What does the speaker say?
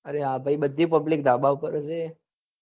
are હા ભાઈ બધી public ધાબા પર જ હશે.